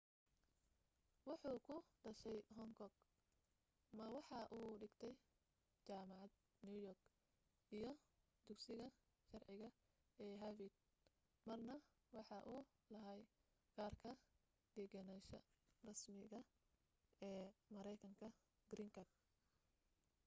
waxuu ku dhashay hong kong ma waxa uu dhigtay jaamacada new york iyo dugsiga sharciga ee harvard marna waxa uu lahaa kaarka degganaasha rasmiga ee mareykanka green card